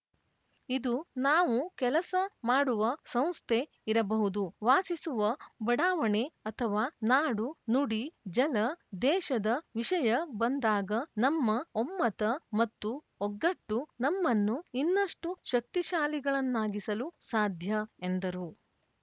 ಇದು ನಾವು ಕೆಲಸ ಮಾಡುವ ಸಂಸ್ಥೆ ಇರಬಹುದು ವಾಸಿಸುವ ಬಡಾವಣೆ ಅಥವಾ ನಾಡು ನುಡಿ ಜಲ ದೇಶದ ವಿಷಯ ಬಂದಾಗ ನಮ್ಮ ಒಮ್ಮತ ಮತ್ತು ಒಗ್ಗಟ್ಟು ನಮ್ಮನ್ನು ಇನ್ನಷ್ಟುಶಕ್ತಿಶಾಲಿಗಳನ್ನಾಗಿಸಲು ಸಾಧ್ಯ ಎಂದರು